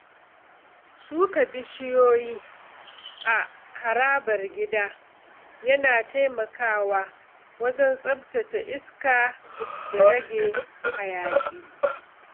Shuka bishiyoyi a harabar gida yana taimakawa wajen tsaftace iska da rage hayaki.